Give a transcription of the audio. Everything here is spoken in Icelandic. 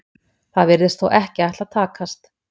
Það virðist þó ekki ætla að takast.